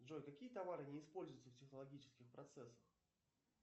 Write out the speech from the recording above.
джой какие товары не используются в технологических процессах